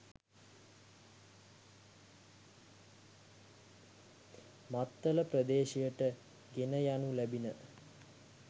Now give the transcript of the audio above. මත්තල ප්‍රදේශයට ගෙන යනු ලැබිණ.